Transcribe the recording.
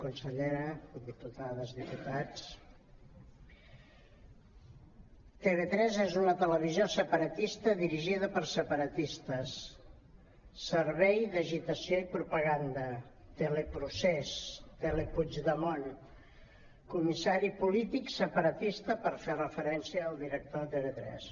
consellera diputades diputats tv3 és una televisió separatista dirigida per separatistes servei d’agitació i propaganda teleprocés telepuigdemont comissari polític separatista per fer referència al director de tv3